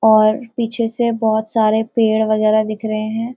और पीछे से बहुत सारे पेड़ वगैरह दिख रहे हैं।